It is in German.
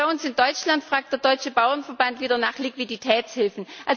Bei uns in Deutschland fragt der Deutsche Bauernverband wieder nach Liquiditätshilfen.